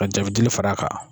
Ka jabidili fara a kan.